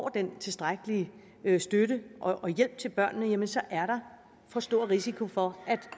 den tilstrækkelige støtte og hjælp til børnene jamen så er der for stor risiko for at